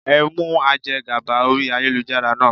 Ẹ mú aje gàba orí ayélujára náà.